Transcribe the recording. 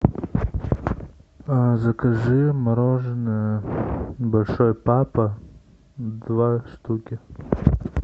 закажи мороженое большой папа два штуки